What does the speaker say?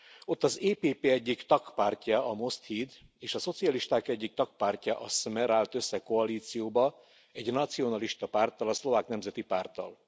Ott az EPP egyik tagpártja, a Most Híd és a szocialisták egyik tagpártja a Smer állt össze koalícióba egy nacionalista párttal, a Szlovák Nemzeti Párttal.